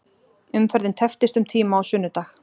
Umferðin tepptist um tíma á sunnudag